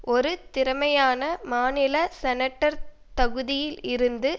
ஒரு திறமையான மாநில செனட்டர் தகுதியில் இருந்து